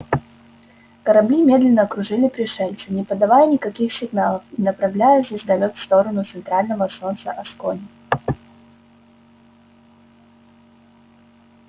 корабли медленно окружили пришельца не подавая никаких сигналов и направляя звездолёт в сторону центрального солнца аскони